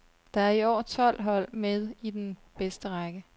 Der er i år tolv hold med i den bedste række.